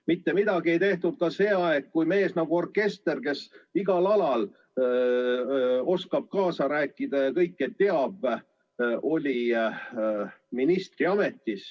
Mitte midagi ei tehtud ka sel ajal, kui ministriametis oli mees nagu orkester, kes igal alal oskab kaasa rääkida ja kõike teab.